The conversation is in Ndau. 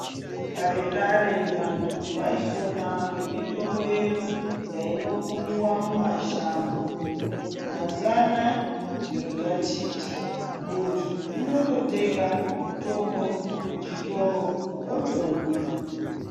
Kare kare vantu vaipona ngemitombo yedu yainokumiwa mumashango mazuwanayi zviro zvachinja muntu unototenga mutombo muchitoro otomwa